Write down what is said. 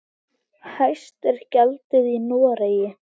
Hæst er gjaldið í Noregi.